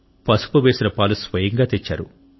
పసుపు వేసిన పాలు స్వయంగా తెచ్చారు